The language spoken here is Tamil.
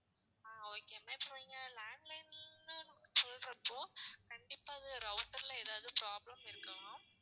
ஆஹ் okay ma'am இப்போ நீங்க landline ன்னு சொல்றப்போ கண்டிப்பா அது router ல ஏதாவது problem இருக்கலாம்